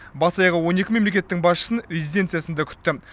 бас аяғы он екі мемлекеттің басшысын резиденциясында күтті